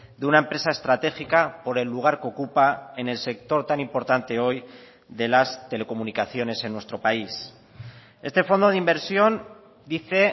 de una empresa estratégica por el lugar que ocupa en el sector tan importante hoy de las telecomunicaciones en nuestro país este fondo de inversión dice